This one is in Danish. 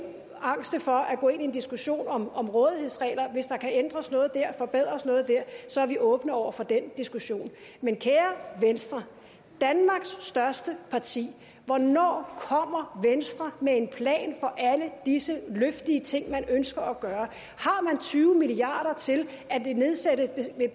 angste for at gå ind i en diskussion om om rådighedsregler hvis der kan ændres noget der forbedres noget der så er vi åbne over for den diskussion men kære venstre danmarks største parti hvornår kommer venstre med en plan for alle disse luftige ting man ønsker at gøre har man tyve milliard kroner til at nedsætte